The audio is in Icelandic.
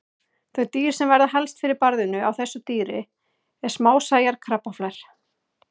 Þau dýr sem verða helst fyrir barðinu á þessu dýri eru smásæjar krabbaflær.